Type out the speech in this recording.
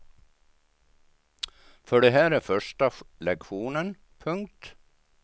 För det här är första lektionen. punkt